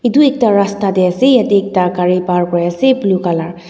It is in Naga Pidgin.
edu ekta rasta tae ase yatae ekta gari par kuriase blue colour .